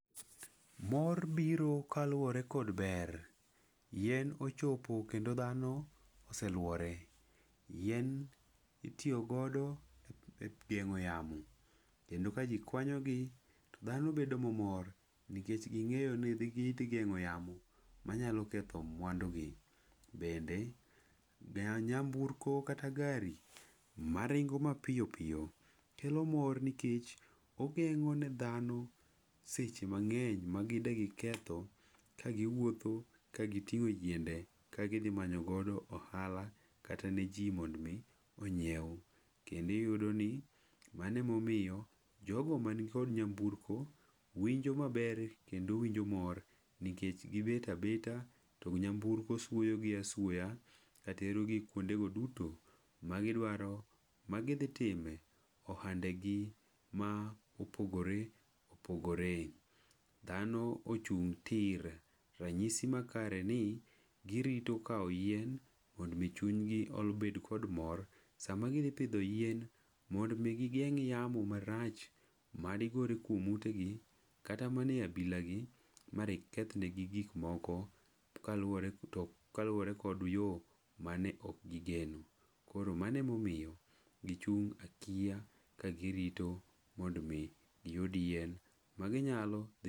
Mor biro kaluwore kod ber. Yien ochopo kendo dhano oselwore. Yien itiyo godo e geng'o yamo. Kendo ka gikwanyogi, to dhano bedo mamor, nikech ging'eyo ne gidhi gi geng'o yamo manyalo ketho mwandogi. Bende, ga nyamburko kata gari maringo ma piyo piyo, kelo mor nikech ogeng'one dhano seche mang'eny ma gi degi ketho, ka gi wuotho, ka gitingo jiende, ka gidhi manyo godo ohala kata ne ji mondmi onyiew. Kende iudo ni, mane momiyo, jogo mankod nyamburko winjo maber kendo winjo mor, nikech gibetabeta to nyamburko suoyo gi asuoya, katero gik kuondego duto ma gidwaro magidhi time ohandegi ma opogore opogore. Dhano ochung' tir ranyisi makare ni girito kao yien mod michunygi obed kod mor, sama gidhi pidho yien mod mi gigeng' yamo marach mad gori kuom utegi, kata mana e abila gi marip keth negi gik moko kaluwore tok kaluwore kod yoo mane ok gigeno. Koro mano e momiyo, gichung' akiya ka girito mondmi giyudi yien maginyalo.